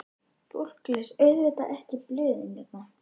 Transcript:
Fólk les auðvitað ekki blöðin hérna.